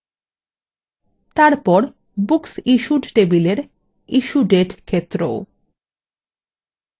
তারপর booksissued table issue date ক্ষেত্র